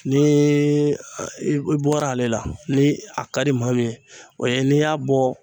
Ni i bɔra ale la ni a ka di ma min ye o ye n'i y'a bɔ